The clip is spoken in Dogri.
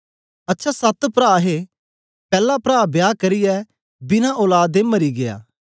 अच्छा सत प्रा हे पैला प्रा बियाह करियै बिना औलाद दे मरी गीया